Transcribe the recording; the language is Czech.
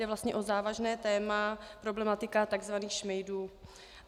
Jde vlastně o závažné téma, problematiku tzv. šmejdů.